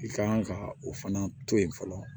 I kan ka o fana to yen fɔlɔ